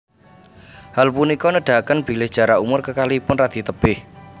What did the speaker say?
Hal punika nedahaken bilih jarak umur kekalihipun radi tebih